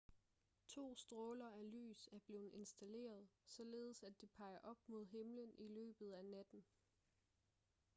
to stråler af lys er blevet installeret således at de peger op mod himlen i løbet af natten